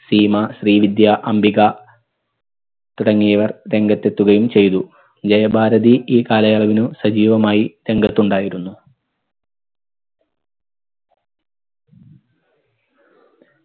സീമ ശ്രീവിദ്യ അംബിക തുടങ്ങിയവർ രംഗത്തെത്തുകയും ചെയ്തു. ജയഭാരതി ഈ കാലയളവിനു സജീവമായി രംഗത്തുണ്ടായിരുന്നു